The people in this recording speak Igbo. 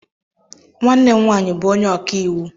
Nwanne m nwaanyị bụ onye ọkaiwu.